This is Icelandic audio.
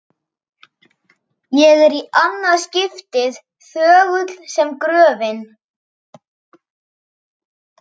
Ég er- í annað skiptið- þögull sem gröfin.